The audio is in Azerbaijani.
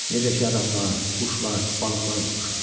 Necə ki, insanlar, quşlar, balıqlar vuruşur.